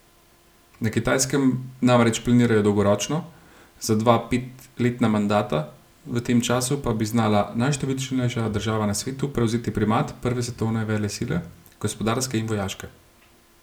Na Kitajskem namreč planirajo dolgoročno, za dva petletna mandata, v tem času pa bi znala najštevilčnejša država na svetu prevzeti primat prve svetovne velesile, gospodarske in vojaške.